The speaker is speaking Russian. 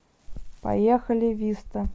поехали виста